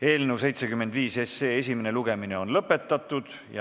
Eelnõu 75 esimene lugemine on lõpetatud.